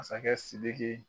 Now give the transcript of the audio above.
Masakɛ SIDIKI.